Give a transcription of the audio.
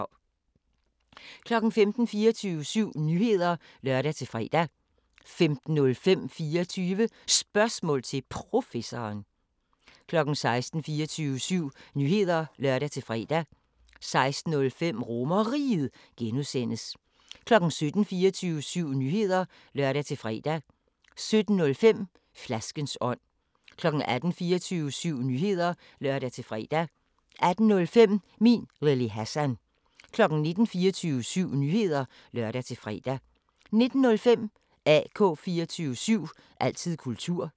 15:00: 24syv Nyheder (lør-fre) 15:05: 24 Spørgsmål til Professoren 16:00: 24syv Nyheder (lør-fre) 16:05: RomerRiget (G) 17:00: 24syv Nyheder (lør-fre) 17:05: Flaskens ånd 18:00: 24syv Nyheder (lør-fre) 18:05: Min Lille Hassan 19:00: 24syv Nyheder (lør-fre) 19:05: AK 24syv – altid kultur